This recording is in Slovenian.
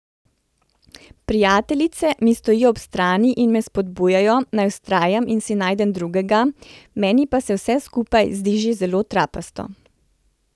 Prijateljice mi stojijo ob strani in me spodbujajo, naj vztrajam in si najdem drugega, meni pa se vse skupaj zdi že zelo trapasto.